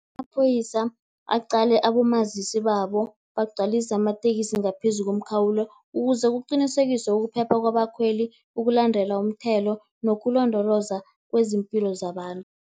Amaphoyisa aqale abomazisi babo, bagcwalise amatekisi ngaphezu komkhawulo, ukuze kuqinisekiswe ukuphepha kwabakhweli, ukulandela umthelo nokulondoloza kwezimpilo zabantu.